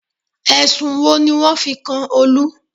Ẹ̀sùn wo ni wọ́n fi kan Olú?